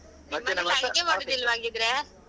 ಅಡುಗೆ ಮಾಡುದಿಲ್ಲವಾ ಹಾಗಿದ್ರೆ?